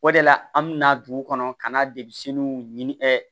O de la an bɛna dugu kɔnɔ ka na depi ɛ